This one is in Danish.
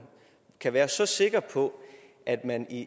kan være så sikker på at man i